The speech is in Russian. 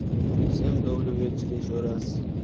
всем добрый вечер ещё раз